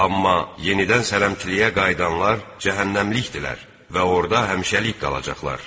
Amma yenidən sələmçiliyə qayıdanlar cəhənnəmlikdirlər və orada həmişəlik qalacaqlar.